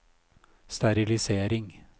sterilisering